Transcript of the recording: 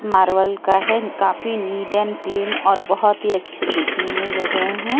Marvel का है काफी नीट एण्ड क्लीन और बहुत ही अच्छे दिखने में लग रहे हैं ये--